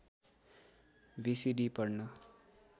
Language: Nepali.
बी सी डी पढ्न